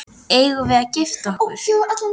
Eigum við að gifta okkur?